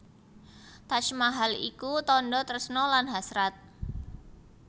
Taj Mahal iku tandha tresna lan hasrat